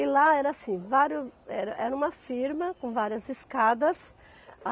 E lá era assim, vário era era uma firma com várias escadas.